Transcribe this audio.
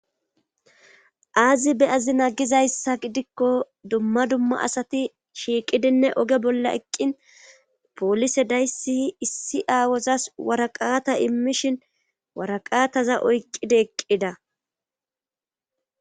Aazi beyazi nagizayssa gidikko dumma dumma asati shiiqidinne oge bolla eqqin poolise daysiy issi aawozas waraqaata immishin waraqaataza oyqqide eqqida.